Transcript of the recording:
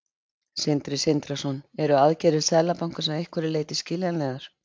Sindri Sindrason: Eru aðgerðir Seðlabankans að einhverju leyti skiljanlegar?